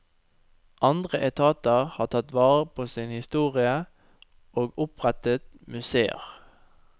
Andre etater har tatt vare på sin historie og opprettet museer.